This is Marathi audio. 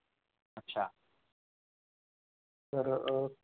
अच्छा तर अह